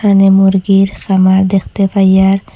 এখানে মুরগির ফার্মার দেখতে পাই আর--